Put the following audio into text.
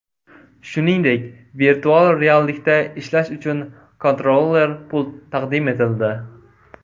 Shuningdek, virtual reallikda ishlash uchun kontroller-pult taqdim etildi.